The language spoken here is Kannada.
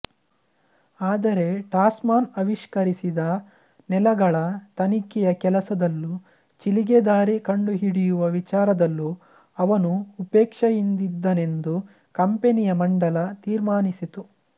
ಆದರೆ ಟಾಸ್ಮಾನ್ ಆವಿಷ್ಕರಿಸಿದ ನೆಲಗಳ ತನಿಖೆಯ ಕೆಲಸದಲ್ಲೂ ಚಿಲಿಗೆ ದಾರಿ ಕಂಡುಹಿಡಿಯುವ ವಿಚಾರದಲ್ಲೂ ಅವನು ಉಪೇಕ್ಷೆಯಿಂದಿದ್ದನೆಂದು ಕಂಪನಿಯ ಮಂಡಲ ತೀರ್ಮಾನಿಸಿತು